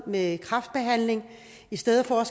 med kræftbehandling og i stedet for at